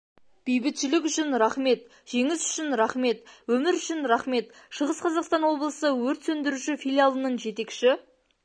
бейбітшілік үшін рахмет жеңіс үшін рахмет өмір үшін рахмет шығыс қазақстан облысы өрт сөндіруші филиалының жетекші